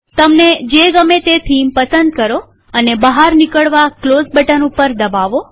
તમને જે ગમે તે થીમ પસંદ કરો અને બહાર નીકળવા ક્લોઝ બટન પર દબાવો